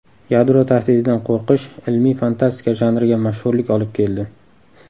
Yadro tahdididan qo‘rqish ilmiy fantastika janriga mashhurlik olib keldi.